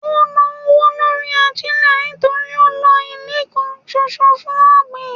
Ó ń ná owó lórí ajílẹ̀ nítorí ó ń lọ ilẹ̀ kan ṣoṣo fún ọ̀gbìn.